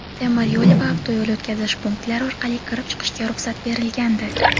temir yo‘l va avtoyo‘l o‘tkazish punktlari orqali kirib-chiqishga ruxsat berilgandi.